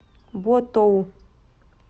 ботоу